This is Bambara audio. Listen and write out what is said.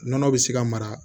Nɔnɔ bɛ se ka mara